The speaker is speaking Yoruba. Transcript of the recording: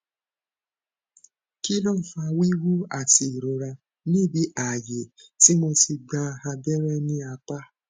kih ló ń fa wíwú àti ìrora níbi ààyè tí mo ti gba abẹrẹ ní apá